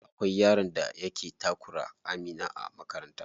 Akwai yaron da yake takura Amira a makaranta.